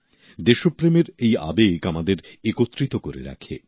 দেশপ্রেমের এই আবেগ আমাদের একত্রিত করে রাখে